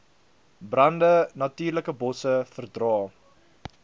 brande natuurlikebosse verdra